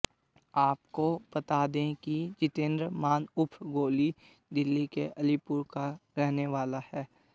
आपको बता दें कि जितेंद्र मान उर्फ गोली दिल्ली के अलीपुर का रहने वाला है